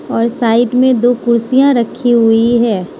और साइड में दो कुर्सियां रखी हुई है।